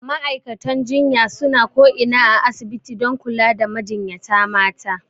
Ma'aikatan jinya suna ko ina a asibiti dan kula da majinyata mata